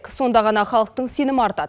сонда ғана халықтың сенімі артады